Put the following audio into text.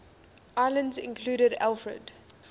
islands included alfred